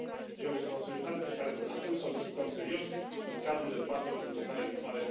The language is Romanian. E o responsabilitate pe care vă propun să o discutăm serios în cadrul dezbaterilor bugetare viitoare.